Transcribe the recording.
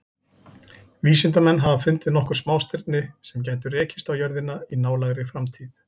Vísindamenn hafa fundið nokkur smástirni sem gætu rekist á jörðina í nálægri framtíð.